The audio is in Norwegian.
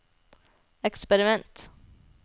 eksperiment